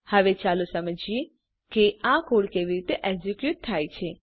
હવે ચાલો સમજીએ કે આ કોડ કેવી રીતે એક્ઝીક્યુટ થાય છે